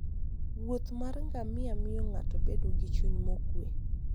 wuoth mar ngamia miyo ng'ato bedo gi chuny mokuwe.